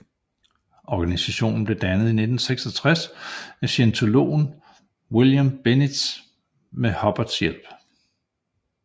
Organisationen blev dannet i 1966 af scientologen William Benitez med Hubbards hjælp